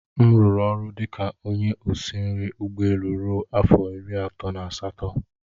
M rụrụ ọrụ dị ka onye osi nri ụgbọ elu ruo afọ iri atọ na asatọ.